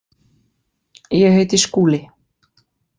Ég heiti Skúli.